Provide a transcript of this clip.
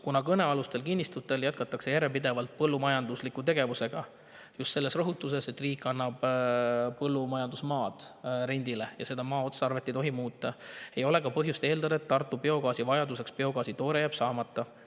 " Kuna kõnealustel kinnistutel jätkatakse järjepidevalt põllumajanduslikku tegevust, just seetõttu, et riik annab rendile põllumajandusmaa ja selle maa otstarvet ei tohi muuta, ei ole ka põhjust eeldada, et Tartu biogaasivajaduse jääb biogaasi toore saamata.